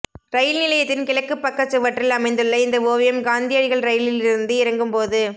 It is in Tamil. ரயில் நிலையத்தின் கிழக்குப் பக்க சுவற்றில் அமைந்துள்ள இந்த ஓவியம் காந்தியடிகள் ரயிலிலிருந்து இறங்கும் போது